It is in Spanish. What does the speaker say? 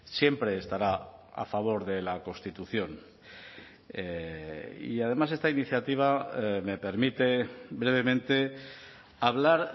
siempre estará a favor de la constitución y además esta iniciativa me permite brevemente hablar